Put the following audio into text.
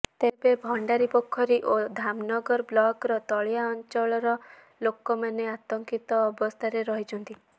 ତେବେ ଭଣ୍ଡାରିପୋଖରୀ ଓ ଧାମନଗର ବ୍ଲକର ତଳିଆ ଅଞ୍ଚଳର ଲୋକମାନେ ଆତଙ୍କିତ ଅବସ୍ଥାରେ ରହିଛନ୍ତି